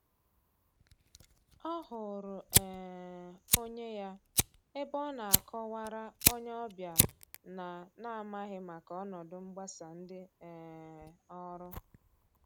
Ọ hụrụ um onye ya ebe ọ na akọ wara onye ọbịa na n'amaghi maka ọnọdụ mgbasa ndị um ọrụ.